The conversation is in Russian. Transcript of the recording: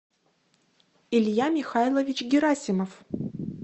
илья михайлович герасимов